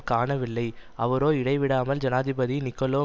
காணவில்லை அவரோ இடைவிடாமல் ஜனாதிபதி நிக்கோலோ